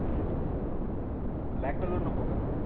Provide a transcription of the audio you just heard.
black color नको ग